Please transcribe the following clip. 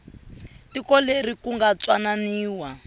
tiko leri ku nga twananiwa